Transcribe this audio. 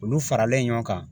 Olu faralen ɲɔgɔn kan